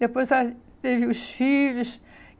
Depois ah teve os filhos.